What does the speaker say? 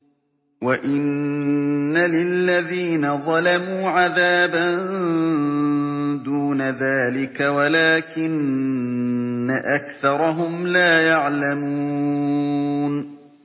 وَإِنَّ لِلَّذِينَ ظَلَمُوا عَذَابًا دُونَ ذَٰلِكَ وَلَٰكِنَّ أَكْثَرَهُمْ لَا يَعْلَمُونَ